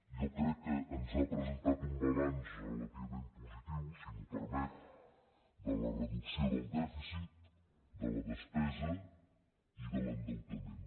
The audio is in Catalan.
jo crec que ens ha presentat un balanç relativament positiu si m’ho permet de la reducció del dèficit de la despesa i de l’endeutament